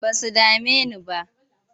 Ba su dame ni ba.